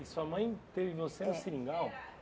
E sua mãe teve você no seringal?